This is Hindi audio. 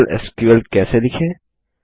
सरल एसक्यूएल कैसे लिखें